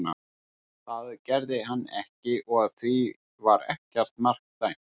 Það gerði hann ekki og því var ekkert mark dæmt.